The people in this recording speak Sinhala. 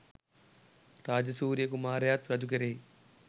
රාජසූරිය කුමාරයාත් රජු කෙරෙහි